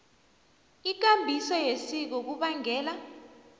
ikambiso yesiko kubangela